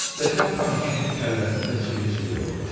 Stəkan Xan kişinin kəlləsində çilik-çilik oldu.